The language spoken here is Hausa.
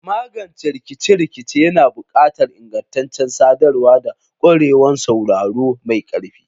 Magance rikice-rikice yana buƙatar ingantaccen sadarwa da ƙwarewar sauraro mai ƙarfi.